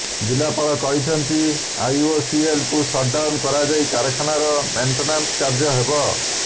ଜିଲ୍ଲାପାଳ କହିଛନ୍ତି ଆଇଓସିଏଲ କୁ ସଟ୍ ଡାଉନ କରାଯାଇ କାରଖାନାର ମେଣ୍ଟେନାସ୍ କାର୍ଯ୍ୟ ହେବ